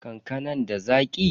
Kankanan da Zaki?